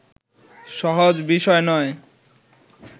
সহজ বিষয় নয়